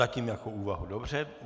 Zatím jako úvahu, dobře.